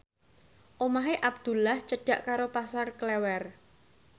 omahe Abdullah cedhak karo Pasar Klewer